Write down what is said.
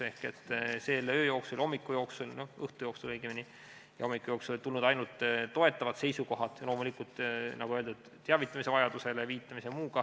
Ehk selle öö ja hommiku jooksul, õigemini õhtu ja hommiku jooksul olid tulnud ainult toetavad seisukohad, loomulikult, nagu öeldud, viidati teavitamise vajadusele ja muule.